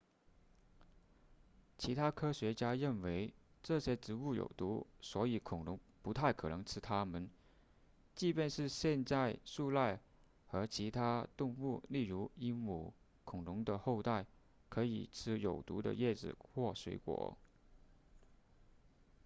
其他科学家认为这些植物有毒所以恐龙不太可能吃它们即便现在树懒和其他动物例如鹦鹉恐龙的后代可以吃有毒的叶子或水果